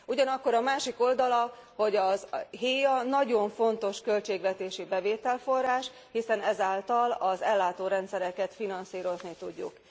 Ugyanakkor a másik oldala, hogy a héa nagyon fontos költségvetési bevételforrás, hiszen ezáltal az ellátórendszereket finanszírozni tudjuk.